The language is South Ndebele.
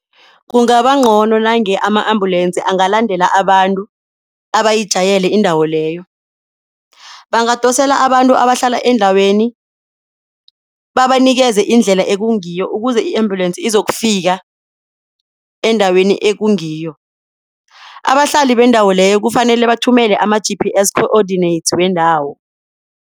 Kungaba ngcono nange ama-ambulances angalandela abantu abayijayele indawo leyo. Bangadosela abantu abahlala endaweni babanikele indlela ekungiyo ukuze i-ambulance izokufika endaweni ekungiyo. Abahlali bendawo leyo kufanele bathumele ama-G_P_S coordinates wendawo.